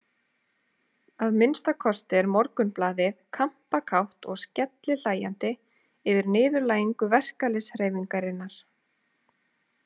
Að minnsta kosti er Morgunblaðið kampakátt og skellihlæjandi yfir niðurlægingu verkalýðshreyfingarinnar.